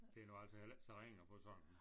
Det er nu altså heller ikke så ringe at få sådan